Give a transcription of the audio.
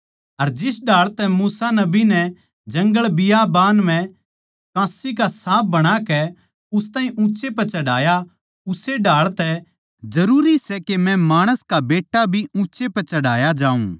अर जिस ढाळ तै मूसा नबी नै जंगलबियाबान म्ह कांस्सी का साँप बणाकै उस ताहीं ऊँच्चै पै चढ़ाया उस्से ढाळ तै जरूरी सै के मै माणस का बेट्टा भी ऊँच्चै पै चढ़ाया जाऊँ